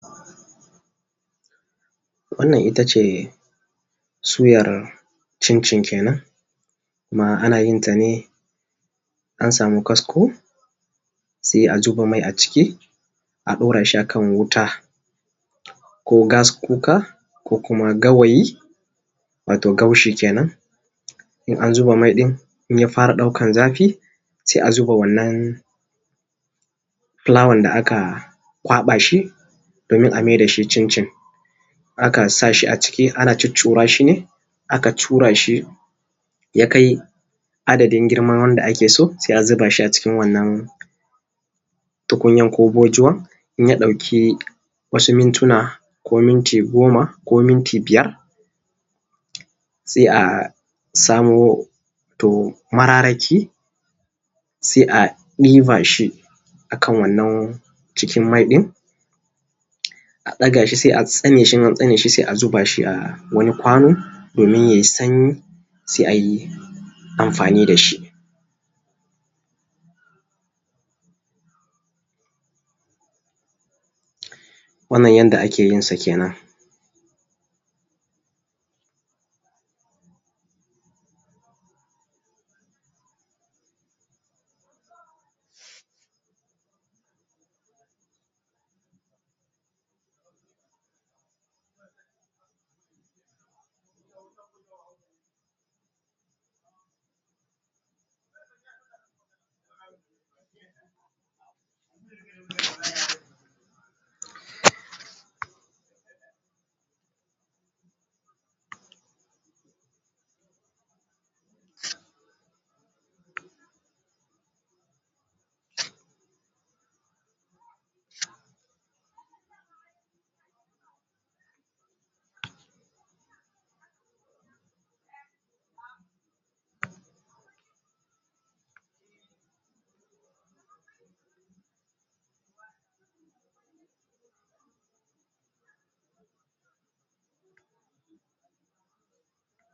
Wannan itace suyar cincin kenan kuma ana yin ta ne an samu kasko, sai a zuba mai a ciki a ɗaura shi akan wuta ko gas kuka, ko kuma gawayi, wato garshi kenan. In an zuba mai ɗin in ya fara ɗaukan zafi sai a zuba wannan filawan da aka kwaɓa shi domin a mai da shi cin cin. Akan sa shi a ciki ana cuccura shi ne, aka cura shi yakai adadin girma wandda ake so, sai a zuba shi a cikin wannan tukunyan, ko bojuwa, in ya ɗauki wasu mintuna ko minti goma ko minti biyar sai a samo to mararaki sai a ɗiba shi a kan wannan cikin mai ɗin a ɗaga shi sai a tsane shi, in an tsane shi sai a zuba a wani kwano domin yai sanyi, sai a yi amfani da shi. Wannan yadda ake yinsa kenan.